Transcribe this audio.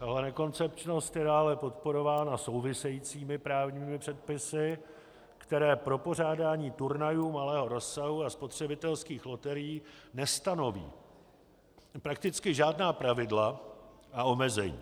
Jeho nekoncepčnost je dále podporována souvisejícími právními předpisy, které pro pořádání turnajů malého rozsahu a spotřebitelských loterií nestanoví prakticky žádná pravidla a omezení.